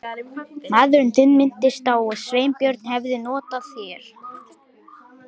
Maðurinn þinn minntist á að Sveinbjörn hefði hótað þér.